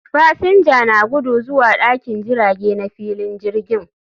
Fasinja na gudu zuwa dakin jirage na filin jirgin